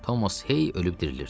Thomas hey ölüb dirilirdi.